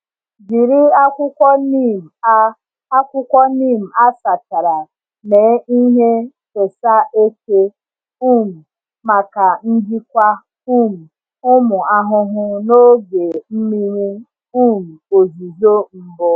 Jiri akwụkwọ neem a akwụkwọ neem a sachara mee ihe fesa eke um maka njikwa um ụmụ ahụhụ n’oge mmiri um ozuzo mbụ.